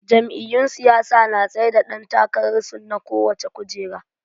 Jam'iyyun siyasa na tsaida dan takararsu na kowacce kujera.